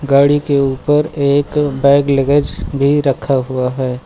गाड़ी के ऊपर एक बैग लगेज भी रखा हुआ है।